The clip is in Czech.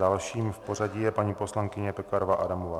Dalším v pořadí je paní poslankyně Pekarová Adamová.